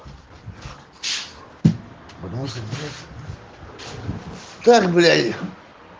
потому что блять так блять